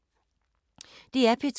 DR P2